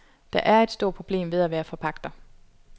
Der er et stort problem ved at være forpagter.